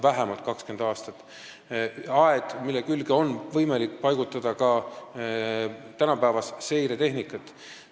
See on aed, mille külge on võimalik paigutada ka tänapäevast seiretehnikat.